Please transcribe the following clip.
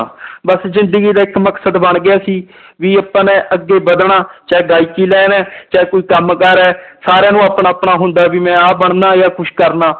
ਬਸ ਜ਼ਿੰਦਗੀ ਦਾ ਇੱਕ ਮਕਸਦ ਬਣ ਗਿਆ ਸੀ ਵੀ ਆਪਾਂ ਨੇ ਅੱਗੇ ਵੱਧਣਾ ਚਾਹੇ ਗਾਇਕੀ line ਹੈ ਚਾਹੇ ਕੋਈ ਕੰਮ ਕਾਰ ਹੈ ਸਾਰਿਆਂ ਨੂੰ ਆਪਣਾ ਆਪਣਾ ਹੁੰਦਾ ਵੀ ਮੈਂ ਆਹ ਬਣਨਾ ਜਾਂ ਕੁਛ ਕਰਨਾ